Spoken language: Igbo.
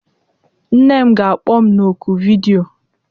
Nne m ga-akpọ m na oku vidiyo